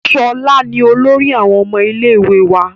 Ṣọlá ni olórí àwọn ọmọ ilé ìwé wa